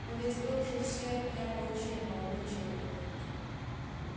но ведь вы уже все от меня получили молодой человек